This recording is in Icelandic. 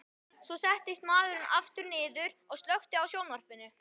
Svo settist maðurinn aftur niður og slökkti á sjónvarpinu.